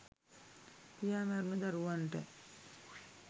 පියා මැරුණ දරුවන්ට